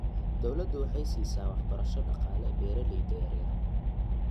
Dawladdu waxay siisaa waxbarasho dhaqaale beeralayda yaryar.